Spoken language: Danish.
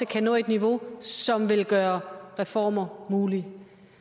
kan nå et niveau som vil gøre reformer mulige